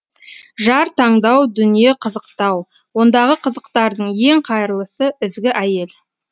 жар таңдау дүние қызықтау ондағы қызықтардың ең қайырлысы ізгі әйел